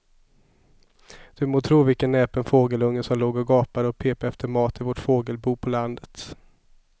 Du må tro vilken näpen fågelunge som låg och gapade och pep efter mat i vårt fågelbo på landet.